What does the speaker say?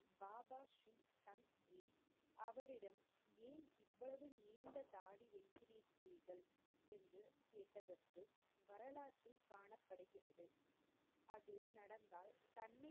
பாபாஸ்ரீ தன்ஜி அவரிடம் ஏன் இவ்வளவு நீண்ட தாடி வைத்திருக்கிறீர்கள் என்று கேட்டதற்கு வரலாற்றில் காணப்படுகிறது அது நடந்தால் தன்னை